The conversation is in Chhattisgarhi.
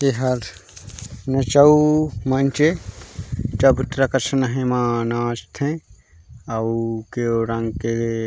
एह हा नचाउ मंच हे चबूतरा कसन ए मा नाचथे अउ केउ रंग के --